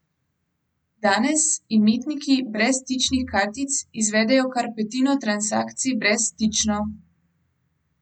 Danes imetniki brezstičnih kartic izvedejo kar petino transakcij brezstično.